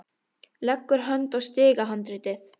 Leggur hönd á stigahandriðið.